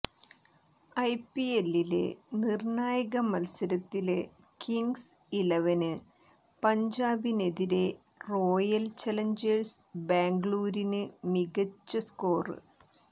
ഐപിഎല്ലില് നിര്ണായക മത്സരത്തില് kings eleven പഞ്ചാബിനെതിരേ റോയല് ചലഞ്ചേഴ്സ് ബാംഗ്ലൂരിന് മികച്ച സ്കോര്